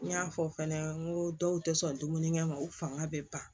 N y'a fɔ fɛnɛ n ko dɔw tɛ sɔn dumunikɛ ma u fanga bɛ ban